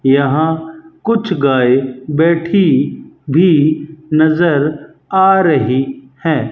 यहां कुछ गाय बैठी भी नजर आ रही हैं।